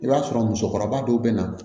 I b'a sɔrɔ musokɔrɔba dɔw bɛ na